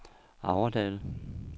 Aurdal